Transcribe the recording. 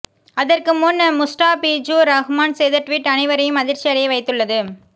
அதற்கு முன் முஸ்டாபிஜூர் ரஹ்மான் செய்த ட்விட் அனைவரையும் அதிர்ச்சி அடைய வைத்துள்ளது